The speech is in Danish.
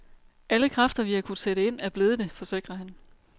Alle kræfter, vi har kunnet sætte ind, er blevet det, forsikrer han.